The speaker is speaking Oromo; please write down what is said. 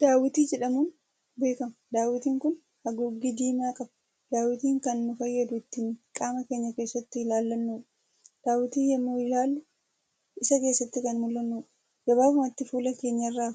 Daawitii jedhamuun beekama. daawitiin kun haguuggii diimaa qaba. daawitiin Kan nu fayyadu ittiin qaama keenya keessatti laallannuudha. daawitiin yemmuu ilaallu Isa keessatti Kan mul'annudha. gabaabumatti fuula keenyarra